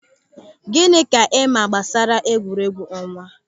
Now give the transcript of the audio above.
Gịnị ka ịma gbasara egwuregwu ọnwa?